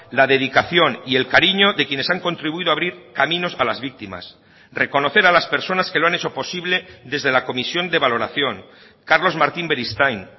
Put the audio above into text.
la dedicación y el cariño de quienes han contribuido a abrir caminos a las víctimas reconocer a las personas que lo han hecho posible desde la comisión de valoración carlos martín beristain